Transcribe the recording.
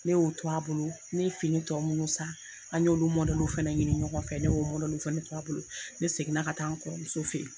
Ne y'o to a bolo, ne ye fini tɔ minnu san, an y'olu fana ɲini ɲɔgɔn fɛ, ne y'o fana to a bolo ne seginna ka taa n kɔrɔmuso fe yen nɔ.